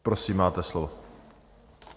Prosím, máte slovo.